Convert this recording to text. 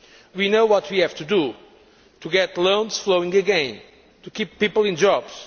We know what we have to do to get loans flowing again to keep people in jobs